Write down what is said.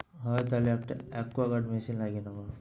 হ্যাঁ তাহলে একটা aquaguard machine লাগিয়ে নেব।